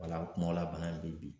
la bana in bɛ bi